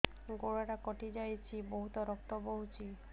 ଗୋଡ଼ଟା କଟି ଯାଇଛି ବହୁତ ରକ୍ତ ବହୁଛି